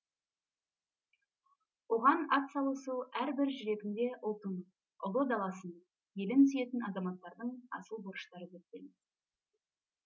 оған ат салысу әрбір жүрегінде ұлтын ұлы даласын елін сүйетін азаматтардың асыл борыштары деп білеміз